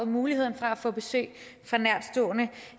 muligheden for at få besøg